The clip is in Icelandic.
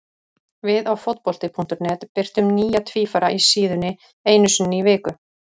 Við á Fótbolti.net birtum nýja tvífara á síðunni einu sinni í viku.